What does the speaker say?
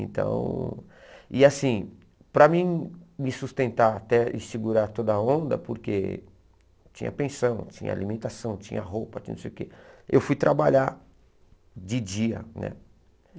Então, e assim, para mim me sustentar até e segurar toda a onda, porque tinha pensão, tinha alimentação, tinha roupa, tinha não sei o que, eu fui trabalhar de dia, né?